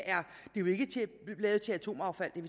lavet til atomaffald